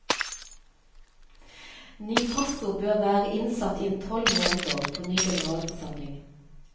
Ny pastor bør være innsatt innen tolv måneder på ny generalforsamling.